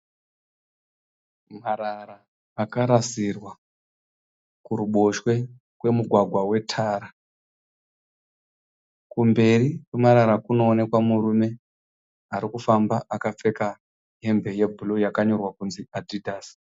Marara akarasirwa kuruboshwe kwemugwagwa wetara. Kumberi kwemarara kunoonekwa murume ari kufamba akapfeka hembe yebhuruu yakanyorwa kunzi Adidas.